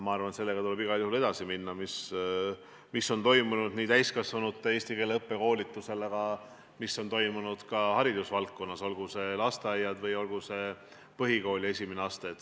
Ma arvan, et tuleb igal juhul edasi minna sellega, mis on toimunud täiskasvanute eesti keele õppes, aga mis on toimunud ka haridusvaldkonnas, olgu need lasteaiad või olgu see põhikooli esimene aste.